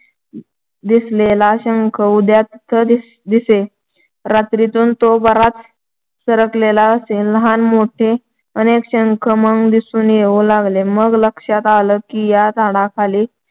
दिसलेला शंख उद्या तिथं दिसे. रात्रीतून तो बराच सरकलेला असे. लहान-मोठे अनेक शंख मग दिसून येऊ लागले. मग लक्षात आलं की या झाडाखाली